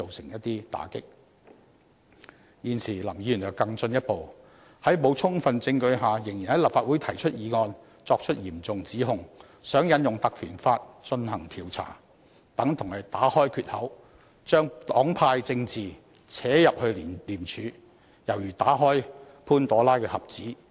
現時林議員則更進一步，在沒有充分證據下，仍然在立法會提出議案，作出嚴重指控，想要求引用《條例》進行調查，如此做法等同打開缺口，讓黨派政治滲進廉署，猶如打開潘朵拉的盒子。